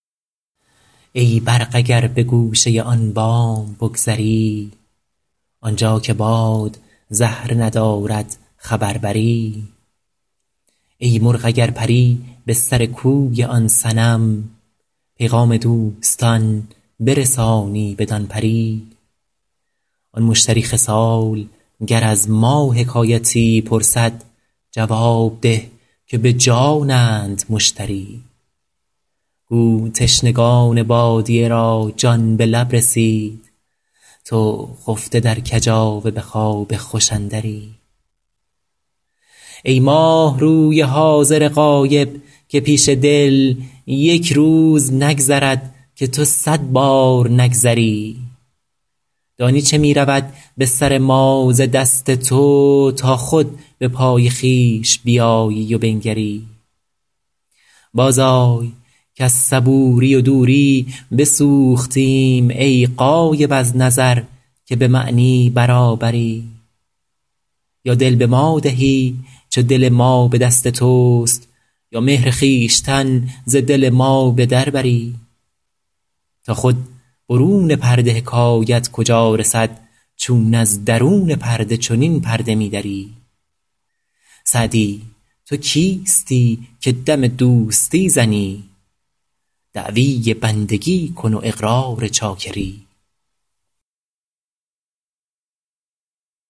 ای برق اگر به گوشه آن بام بگذری آنجا که باد زهره ندارد خبر بری ای مرغ اگر پری به سر کوی آن صنم پیغام دوستان برسانی بدان پری آن مشتری خصال گر از ما حکایتی پرسد جواب ده که به جانند مشتری گو تشنگان بادیه را جان به لب رسید تو خفته در کجاوه به خواب خوش اندری ای ماهروی حاضر غایب که پیش دل یک روز نگذرد که تو صد بار نگذری دانی چه می رود به سر ما ز دست تو تا خود به پای خویش بیایی و بنگری بازآی کز صبوری و دوری بسوختیم ای غایب از نظر که به معنی برابری یا دل به ما دهی چو دل ما به دست توست یا مهر خویشتن ز دل ما به در بری تا خود برون پرده حکایت کجا رسد چون از درون پرده چنین پرده می دری سعدی تو کیستی که دم دوستی زنی دعوی بندگی کن و اقرار چاکری